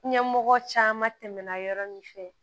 Ɲɛmɔgɔ caman tɛmɛna yɔrɔ min fɛ